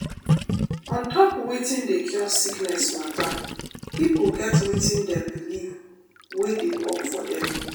ontop wetin dey cure sickness mata pipo get wetin dem believe wey dey work for dem.